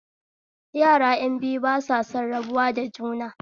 Yara ƴan biyu ba san rabuwa da juna